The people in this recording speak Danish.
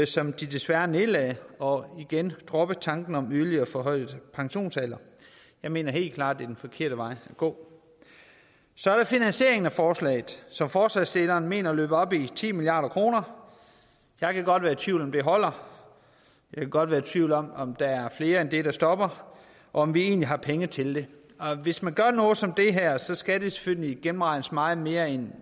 som de desværre nedlagde og igen droppe tanken om en yderligere forhøjelse af pensionsalderen jeg mener helt klart det er den forkerte vej at gå så er der finansieringen af forslaget som forslagsstillerne mener løber op i ti milliard kroner jeg kan godt være i tvivl om om det holder jeg kan godt være i tvivl om om der er flere end det der stopper og om vi egentlig har penge til det hvis man gør noget som det her skal det selvfølgelig gennemregnes meget mere end